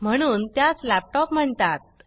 म्हणून त्यास लॅपटॉप म्हणतात